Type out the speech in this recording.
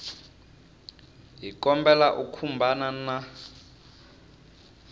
hi kombela u khumbana na